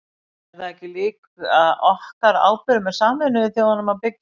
En er það ekki líka okkar ábyrgð með Sameinuðu þjóðunum að byggja upp?